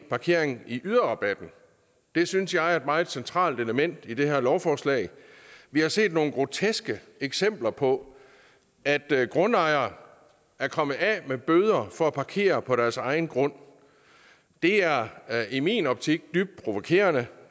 parkering i yderrabatten det synes jeg er et meget centralt element i det her lovforslag vi har set nogle groteske eksempler på at grundejere er kommet af med bøder for at parkere på deres egen grund det er i min optik dybt provokerende